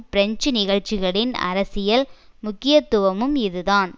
French நிகழ்ச்சிகளின் அரசியல் முக்கியத்துவமும் இதுதான்